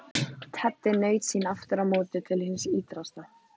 Teddi naut sín aftur á móti til hins ýtrasta.